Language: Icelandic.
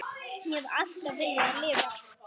Ég hef alltaf viljað lifa.